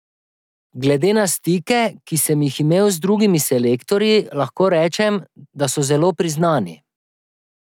Glede na stike, ki sem jih imel z drugimi selektorji, lahko rečem, da so zelo priznani.